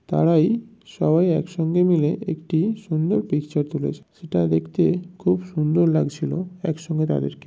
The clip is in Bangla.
তারাই সবাই একসঙ্গে মিলে একটি সুন্দর পিকচার তুলেছে। সেটা দেখতে খুব সুন্দর লাগছিল একসঙ্গে তাদেরকে--